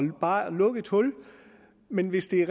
bare at lukke et hul men hvis det